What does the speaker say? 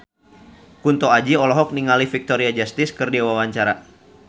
Kunto Aji olohok ningali Victoria Justice keur diwawancara